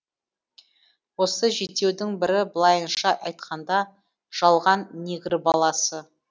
осы жетеудің бірі былайынша айтқанда жалған негр баласы